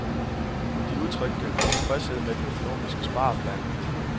De udtrykte utilfredshed med den økonomiske spareplan.